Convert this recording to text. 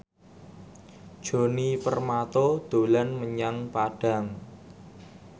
Djoni Permato dolan menyang Padang